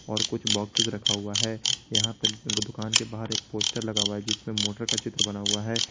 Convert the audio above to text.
और कुछ बॉक्सेस रखा हुआ है यहां पे दुकान के बाहर एक पोस्टर लगा हुआ है जिसपे मोटर का चित्र बना हुआ है।